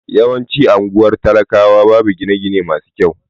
Yawancin anguwar talakawa babu gine gine masu kyau